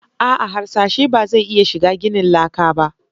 A'a harsashe ba zai iya shiga ginin laka ba